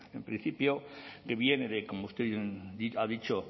en principio que viene de como usted ha dicho